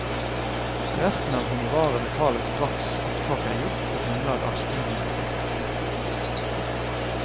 Resten av honoraret betales straks opptak er gjort på grunnlag av studiorapporten.